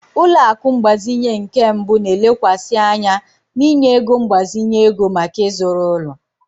Ụlọ akụ mgbazinye nke mbụ na-elekwasị anya n'inye ego mgbazinye ego maka ịzụrụ ụlọ.